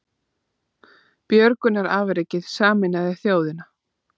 Björgunarafrekið sameinaði þjóðina